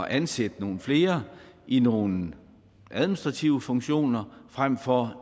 at ansætte nogle flere i nogle administrative funktioner frem for